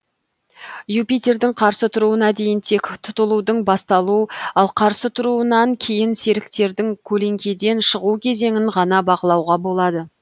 юпитердің қарсы тұруына дейін тек тұтылудың басталу ал қарсы тұруынан кейін серіктердің көлеңкеден шығу кезеңін ғана бақылауға болады